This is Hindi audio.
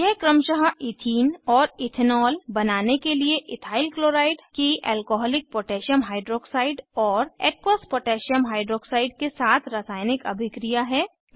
यह क्रमशः ईथीन और इथेनॉल बनाने के लिए इथाइल क्लोराइड की एल्कोहॉलिक पोटैशियम हाइड्रॉक्साइड और एक्वस पोटैशियम हाइड्रॉक्साइड के साथ रासायनिक अभिक्रिया है